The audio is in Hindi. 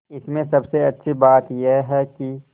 इसमें सबसे अच्छी बात यह है कि